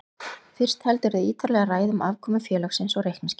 Fyrst heldurðu ítarlega ræðu um afkomu félagsins og reikningsskil.